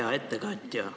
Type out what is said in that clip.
Hea ettekandja!